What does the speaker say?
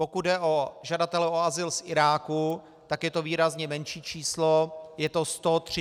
Pokud jde o žadatele o azyl z Iráku, tak je to výrazně menší číslo, je to 132 žadatelů.